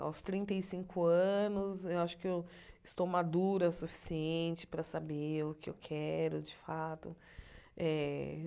Aos trinta e cinco anos, eu acho que eu estou madura o suficiente para saber o que eu quero de fato. Eh